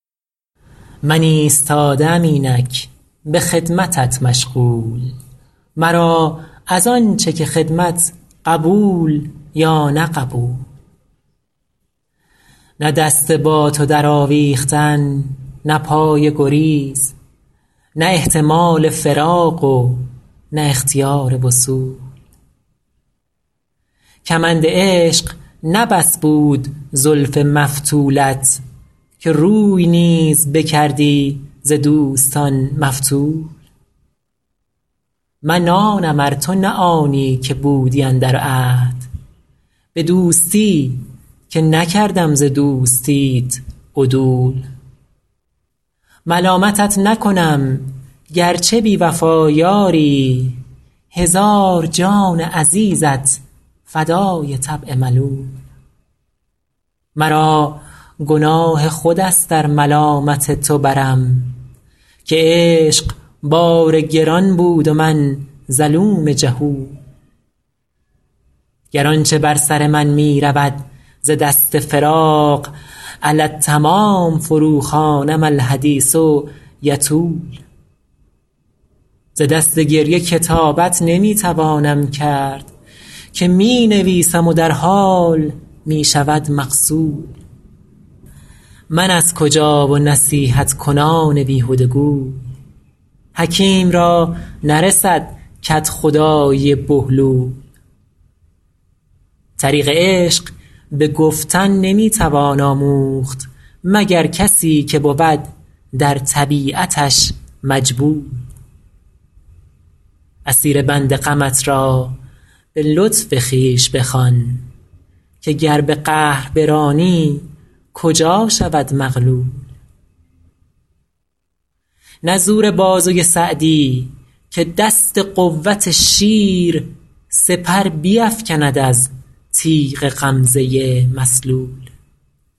من ایستاده ام اینک به خدمتت مشغول مرا از آن چه که خدمت قبول یا نه قبول نه دست با تو درآویختن نه پای گریز نه احتمال فراق و نه اختیار وصول کمند عشق نه بس بود زلف مفتولت که روی نیز بکردی ز دوستان مفتول من آنم ار تو نه آنی که بودی اندر عهد به دوستی که نکردم ز دوستیت عدول ملامتت نکنم گر چه بی وفا یاری هزار جان عزیزت فدای طبع ملول مرا گناه خود است ار ملامت تو برم که عشق بار گران بود و من ظلوم جهول گر آن چه بر سر من می رود ز دست فراق علی التمام فروخوانم الحدیث یطول ز دست گریه کتابت نمی توانم کرد که می نویسم و در حال می شود مغسول من از کجا و نصیحت کنان بیهده گوی حکیم را نرسد کدخدایی بهلول طریق عشق به گفتن نمی توان آموخت مگر کسی که بود در طبیعتش مجبول اسیر بند غمت را به لطف خویش بخوان که گر به قهر برانی کجا شود مغلول نه زور بازوی سعدی که دست قوت شیر سپر بیفکند از تیغ غمزه مسلول